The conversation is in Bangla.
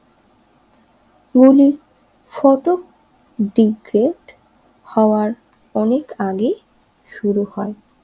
হওয়ার অনেক আগে শুরু হয়